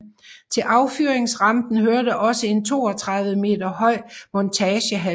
Til affyringsrampen hørte også en 32 meter høj montagehal